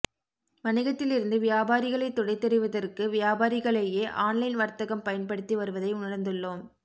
வணிகத்திலிருந்து வியாபாரிகளை துடைத்தெறிவதற்கு வியாபாரிகளையே ஆன்லைன் வா்த்தகம் பயன்படுத்தி வருவதை உணா்ந்துள்ளோம்